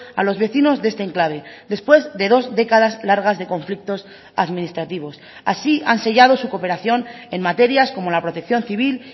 a los vecinos de este enclave después de dos décadas largas de conflictos administrativos así han sellado su cooperación en materias como la protección civil